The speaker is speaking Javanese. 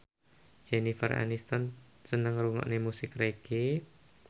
Jennifer Aniston seneng ngrungokne musik reggae